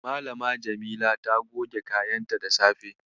Malam Jamila ta goge kayanta da safe.